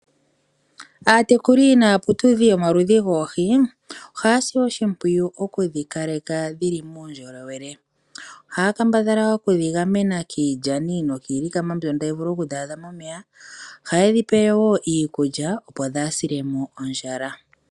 Aatekuli naaputudhi yomaludhi goohi ohaa si oshimpwiyu okudhi kaleka dhi li muundjolowele. Ohaa kambadhala okudhi gamena kiilyani nokiilikama mbyono tayi vulu okudhi adha momeya. Ohaye dhi pe wo iikulya, opo dhaa sile mo ondjala.